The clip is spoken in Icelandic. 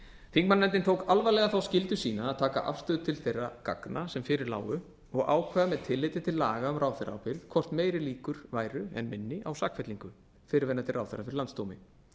þingmannanefndin tók alvarlega þá skyldu sína að taka afstöðu til þeirra gagna sem fyrir lágu og ákvað með tilliti til laga um ráðherraábyrgð hvort meiri líkur væru en minni á sakfellingu fyrrverandi ráðherra fyrir landsdómi